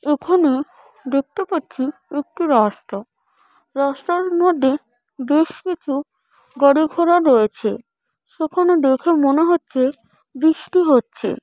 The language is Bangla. এখানে দেখতে পারছি একটি রাস্তা | রাস্তার মধ্যে বেশ কিছু গাড়ি ঘোড়া রয়েছে | সেখানে দেখে মনে হচ্ছে বৃষ্টি হচ্ছে।